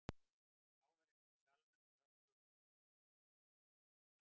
Áheyrendur í salnum klöppuðu og settu upp samúðarsvip